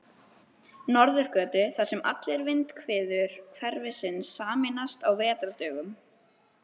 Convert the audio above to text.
Norðurgötu, þar sem allar vindhviður hverfisins sameinast á vetrardögum.